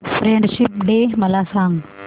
friendship day मला सांग